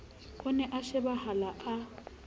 o ne a shebahala a